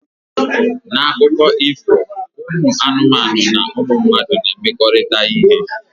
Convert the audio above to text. Na akụkọ ifo anụmanụ na ụmụ mmadụ na-emekọrịta ihe